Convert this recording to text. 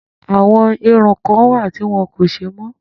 Àwọn irun kan wà tí wọn kò ṣe mọ́